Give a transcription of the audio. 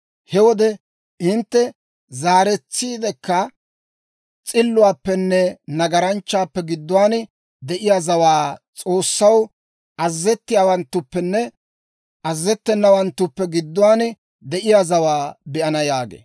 He wode hintte zaaretsiidekka s'illuwaappenne nagaranchchaappe gidduwaan de'iyaa zawaanne S'oossaw azazettiyaawanttuppenne azazettenawanttuppe gidduwaan de'iyaa zawaa be'ana» yaagee.